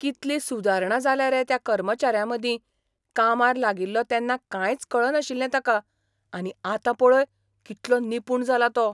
कितली सुदारणा जाल्या रे त्या कर्मचाऱ्यामदीं कामार लागिल्लो तेन्ना कांयच कळनाशिल्लें ताका, आनी आतां पळय कितलो निपूण जाला तो.